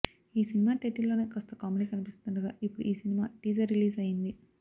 ఈ సినిమా టైటిల్లోనే కాస్త కామెడీ కనిపిస్తుండగా ఇప్పుడు ఈ సినిమా టీజర్ రిలీజ్ అయ్యింది